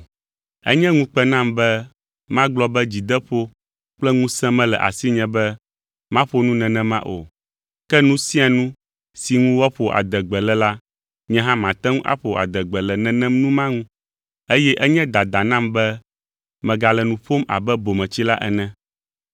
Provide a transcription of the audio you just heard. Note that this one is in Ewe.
Enye ŋukpe nam be magblɔ be dzideƒo kple ŋusẽ mele asinye be maƒo nu nenema o, ke nu sia nu si ŋu woaƒo adegbe le la nye hã mate ŋu aƒo adegbe le nenem nu ma ŋu, eye enye dada nam be megale nu ƒom abe bometsila ene.